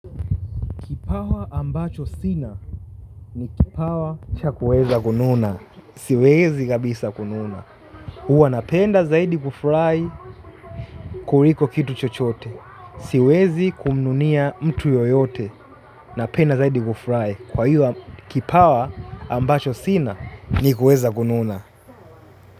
Kipawa ambacho sina ni kipawa cha kuweza kununa. Siwezi kabisa kununa. Uwa napenda zaidi kufrai kuriko kitu chochote. Siwezi kumnunia mtu yoyote. Napenda zaidi kufrai. Kwa iwo kipawa ambacho sina ni kuweza kununa.